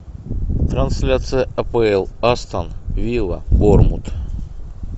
трансляция апл астон вилла борнмут